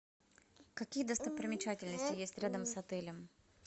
какие достопримечательности есть рядом с отелем